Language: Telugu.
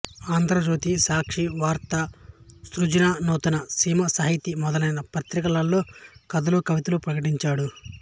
ఆంధ్రజ్యోతి సాక్షి వార్త సృజననూతన సీమ సాహితి మొదలైన పత్రికలలో కథలు కవితలు ప్రకటించాడు